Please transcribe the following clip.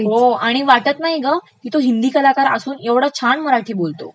हो आणि वाटत नाही गं, ऐवढा हिंदी कलाकार असून तो ऐवढं छान मराठी बोलतो.